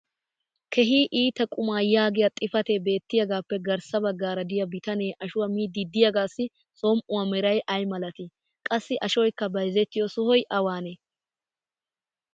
keehi iita qumaa yaagiya xifatee beetiyaagaappe garssa bagaara diya bitanee ashuwa miidi diyaagaassi som'uwaa meray ay malatii? qassi ashoykka bayzzettiyo sohoy awaanee?